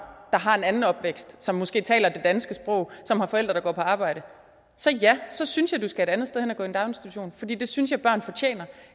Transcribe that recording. der har en anden opvækst som måske taler det danske sprog og som har forældre der går på arbejde så ja så synes jeg du skal et andet sted hen og gå i daginstitution for det synes jeg børn fortjener